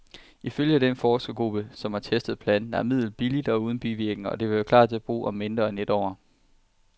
Ifølge den forskergruppe, som har testet planten, er midlet billigt og uden bivirkninger, og det vil klar til brug om mindre end et år.